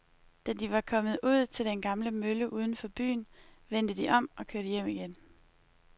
Da de var kommet ud til den gamle mølle uden for byen, vendte de om og kørte hjem igen.